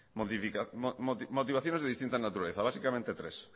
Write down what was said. motivaciones de distinta naturaleza básicamente tres